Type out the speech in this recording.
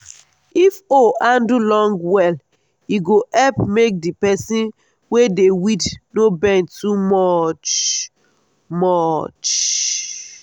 if hoe handle long well e go help make the person wey dey weed no bend too much. much.